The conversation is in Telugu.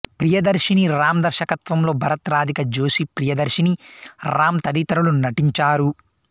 ప్రియదర్షిని రామ్ దర్శకత్వంలో భరత్ రాధిక జోషి ప్రియదర్షిని రామ్ తదితరులు నటించారు